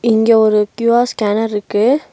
இங்க ஒரு Q R scanner இருக்கு.